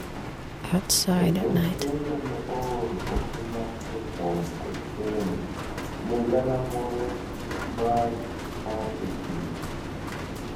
e ote ma ne ooro ote mar jo fuambo kod keyo ne galamoro mar mar AP